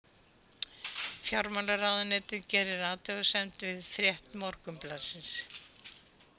Fjármálaráðuneytið gerir athugasemd við frétt Morgunblaðsins